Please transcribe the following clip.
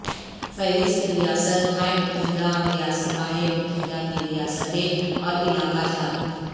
فہرست ریاست ہائے متحدہ ریاستہائے متحدہ کی ریاستیں اور علاقہ جات